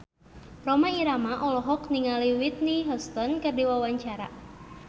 Rhoma Irama olohok ningali Whitney Houston keur diwawancara